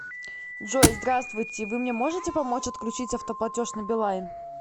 джой здравствуйте вы мне можете помочь отключить автоплатеж на билайн